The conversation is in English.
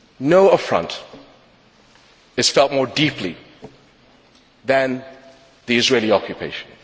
No affront is felt more deeply than the Israeli occupation.